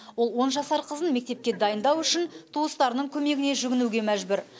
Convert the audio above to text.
ол он жасар қызын мектепке дайындау үшін туыстарының көмегіне жүгінуге мәжбүр